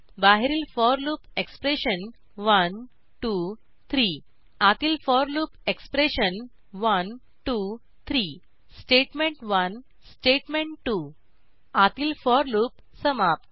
बाहेरील for loop expression 1 2 3 आतील for loop expression 1 2 3 statement 1 statement 2 आतील फोर लूप समाप्त